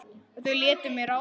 Og þau létu mig ráða.